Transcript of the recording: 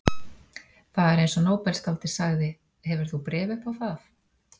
Það er eins og nóbelsskáldið sagði: Hefur þú bréf upp á það?